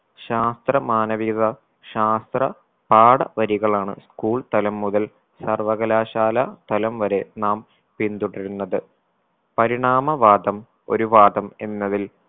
ശാസ്ത്ര മാനവികത ശാസ്ത്ര പാഠ വരികളാണ് school തലം മുതൽ സർവ്വകലാശാല തലം വരെ നാം പിന്തുടരുന്നത് പരിണാമ വാദം ഒരു വാദം എന്നതിൽ